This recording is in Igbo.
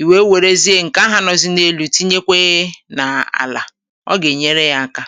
Ì wèe wèrezie ǹkè ahụ̀ nọzi n’elu̇, tinyekwe nà àlà, i wèld akȧ, mẹkpa ǹkè ǹnyere ị̀ aka.